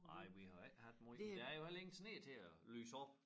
Nej vi har ikke haft måj men der er jo heller ingen sne til at lyse op